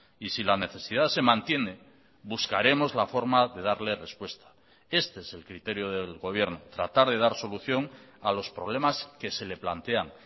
y si la necesidad se mantiene buscaremos la forma de darle respuesta este es el criterio del gobierno tratar de dar solución a los problemas que se le plantean